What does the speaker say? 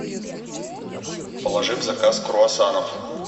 положи в заказ круассанов